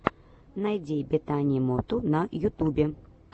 найди бетани моту на ютубе